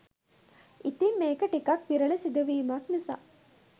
ඉතිං මේක ටිකක් විරල සිදුවීමක් නිසා